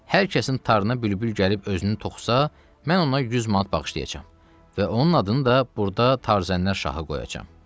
Hər kəsin tarına bülbül gəlib özünü toxusa, mən ona 100 manat bağışlayacam və onun adını da burda Tarzənlər şahı qoyacam.